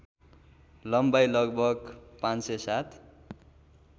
लम्बाइ लगभग ५०७